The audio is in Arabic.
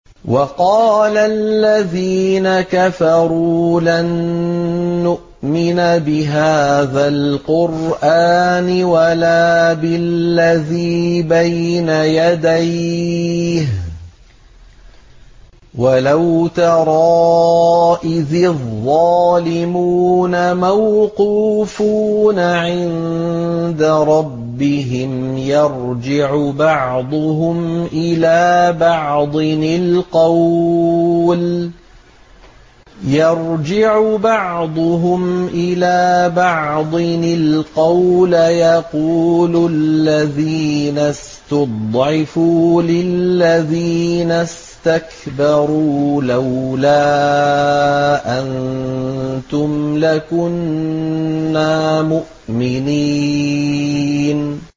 وَقَالَ الَّذِينَ كَفَرُوا لَن نُّؤْمِنَ بِهَٰذَا الْقُرْآنِ وَلَا بِالَّذِي بَيْنَ يَدَيْهِ ۗ وَلَوْ تَرَىٰ إِذِ الظَّالِمُونَ مَوْقُوفُونَ عِندَ رَبِّهِمْ يَرْجِعُ بَعْضُهُمْ إِلَىٰ بَعْضٍ الْقَوْلَ يَقُولُ الَّذِينَ اسْتُضْعِفُوا لِلَّذِينَ اسْتَكْبَرُوا لَوْلَا أَنتُمْ لَكُنَّا مُؤْمِنِينَ